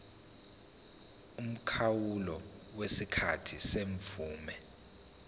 umkhawulo wesikhathi semvume